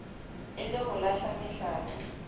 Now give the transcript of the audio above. e le ho lahla mehlala